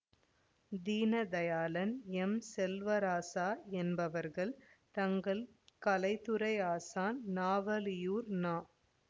Deenadayalan M Selvaraja என்பவர்கள் தங்கள் கலைத்துறை ஆசான் நவாலியூர் நா